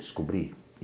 Descobri.